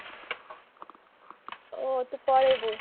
ଓ ତୁ ପଳେଇବୁ